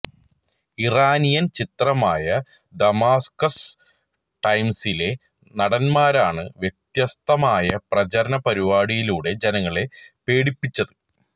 Iranian ചിത്രമായ Damascus ടൈംസിലെ നടന്മാരാണ് വ്യത്യസ്തമായ പ്രചരണ പരിപാടിയിലൂടെ ജനങ്ങളെ പേടിപ്പിച്ചത്